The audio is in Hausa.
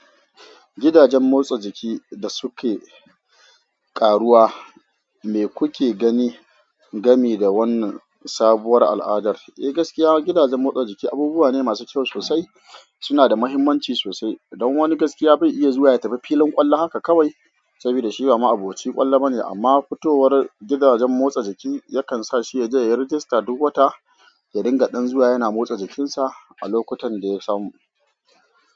Gidajen motsa jiki da suke ƙaruwa, me kuke gani game da wannan sabuwar al'adar? Eh, gaskiya gidajen motsa jiki abubuwa ne masu kyau sosai. Suna da mahimmanci sosai. Don wani gaskiya bai iya zuwa ya tafi filin ƙwallo haka kawai saboda shi ba ma'aboci ƙwallo bane. Amma fitowar gidajen motsa jiki yakan sa shi yaje ya rijista duk wata ya dinga ɗan zuwa yana motsa jikinsa a lokutan da ya samu.